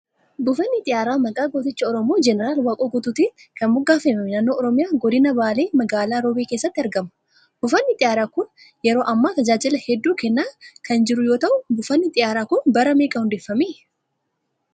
Buufanni xiyyaaraa maqaa gooticha Oromoo Jeneraal Waaqoo Guutuutiin kan moggafame naanno Oromiyaa Godina Baalee Magaalaa Roobee keessatti argama. Buufanni xiyyaaraa kun yeroo ammaa tajaajila hedduu kennaa kan jiru yoo ta'u, buufanni xiyyaaraa kun bara meeqa hundeeffame?